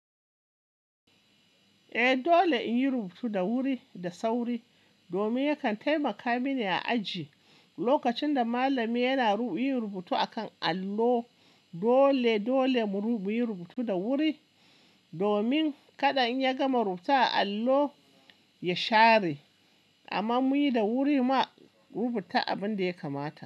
Eh dole in yi rubutu da wuri da sauri domin ya kan taimaka mini a aji. Lokacin da malami yana rubuta a kan allo, dole dole mu rubuta da wuri domin kada in ya gama rubuta a allo, ya share. Amma muyi da wuri ma rubuta abin da ya kamata.